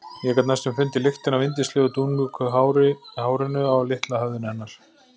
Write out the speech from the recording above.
Ég gat næstum fundið lyktina af yndislegu dúnmjúku hárinu á litla höfðinu hennar.